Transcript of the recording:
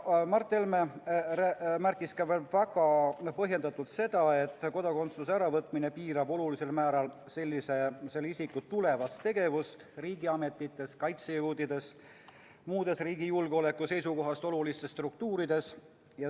Mart Helme märkis väga põhjendatult seda, et kodakondsuse äravõtmine piirab olulisel määral sellise isiku võimalikku tegevust riigiametites, kaitsejõududes ja muudes riigi julgeoleku seisukohast olulistes struktuurides.